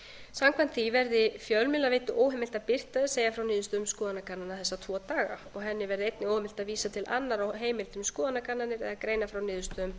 samkvæmt því verði fjölmiðlaveitu óheimilt að birta eða segja frá niðurstöðum skoðanakannana þessa tvo daga og henni verði einnig óheimilt að vísa til annarra heimilda um skoðanakannanir eða greina frá niðurstöðum